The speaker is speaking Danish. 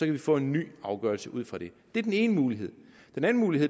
vi få en ny afgørelse ud fra det det er den ene mulighed den anden mulighed